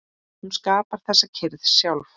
Hún skapar þessa kyrrð sjálf.